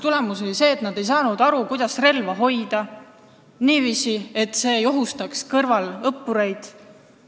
Tulemus oli see, et nad ei saanud aru, kuidas hoida relva niiviisi, et see ei ohustaks kõrvalõppureid.